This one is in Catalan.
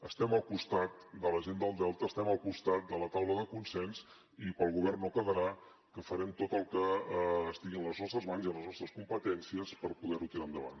estem al costat de la gent del delta estem al costat de la taula de consens i pel govern no quedarà que farem tot el que estigui a les nostres mans i a les nostres competències per poder ho tirar endavant